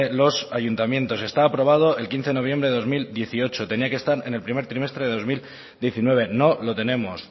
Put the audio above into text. los ayuntamientos está aprobado el quince de noviembre de dos mil dieciocho tenía que estar en el primer trimestre del dos mil diecinueve no lo tenemos